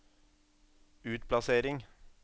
utplassering